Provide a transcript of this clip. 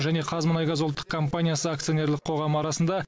және қазмұнайгаз ұлттық компаниясы акционерлік қоғамы арасында